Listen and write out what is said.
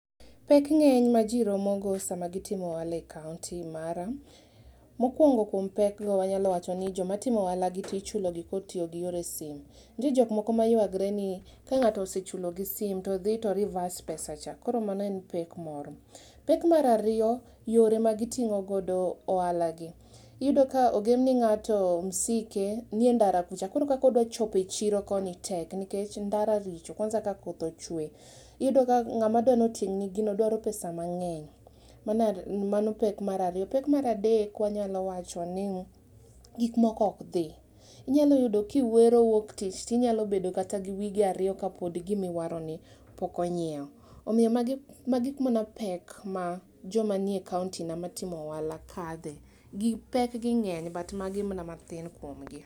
Pek ng'eny maji romo go sama gitimo ohala e kaomti mara, mokuongo kuom pek go wanyalo wacho ni joma timo ohala gi tee ichulogi kod tiyo gi yore simu. Nitie jok moko mmayuagre ni ka ng'ato osechulo gi simu to dhi to reverse pesa cha, mano en pek moro. Pek mar ariyo, yore ma gitimo go ohalagi. Iyudo ka ogem ni ng'ato msike nie ndara kucha koro kaka odwa chopo e chiro koni tek nikech ndara richo v kwansa ka koth ochwe. Iyudo ka ng'at madwa ni otimni gino dwaro pesa mang'eny. Mano pek mar ariyo. Pek mar adek wanyalo wacho ni gik moko ok dhi. Inyalo yudo kiwere wuok tich to inyalo bedo mkata wige ariyo ka gima iwaroni pok ong'iew. Omiyo magi magi mana pek ma joma nie kaonti na matimo ohala kadhe. Pekgi ng'eny but magi mana matin kuom gi.